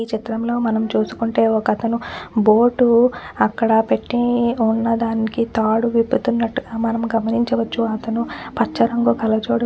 ఈ చిత్రం లో మనం చూసుకుంటే ఒకతను బోటు అక్కడపెట్టి ఉన్నదానికి తాడు విప్పుతునట్లుగా మనం గమనించవచ్చు అతను పచ్చ రంగు కళ్ళ జోడు --